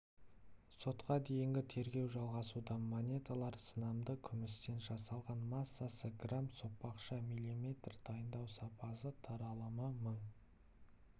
сотқа дейінгі тергеу жалғасуда монеталар сынамды күмістен жасалған массасы грамм сопақша мм дайындау сапасы таралымы мың